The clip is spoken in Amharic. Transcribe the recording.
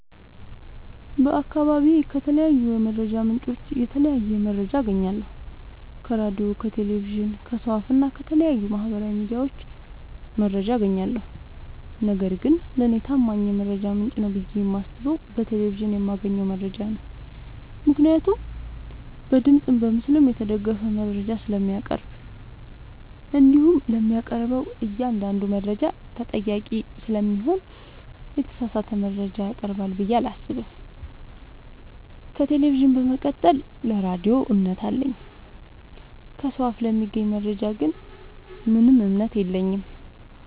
በአካባቢዬ ከተለያዩ የመረጃ ምንጮች የተለያየ መረጃ አገኛለሁ ከራዲዮ ከቴሌቪዥን ከሰው አፋ እና ከተለያዩ ማህበራዊ ሚዲያዎች መረጃ አጋኛለሁ። ነገርግን ለኔ ታማኝ የመረጃ ምንጭ ነው ብዬ የማስበው በቴሌቪዥን የማገኘውን መረጃ ነው ምክንያቱም በድምፅም በምስልም የተደገፈ መረጃ ስለሚያቀርብ። እንዲሁም ለሚያቀርበው እኛአንዳዱ መረጃ ተጠያቂ ስለሚሆን የተሳሳተ መረጃ ያቀርባል ብዬ አላሰብም። ከቴሌቪዥን በመቀጠል ለራዲዮ እምነት አለኝ። ከሰው አፍ ለሚገኝ መረጃ ግን ምንም እምነት የለኝም።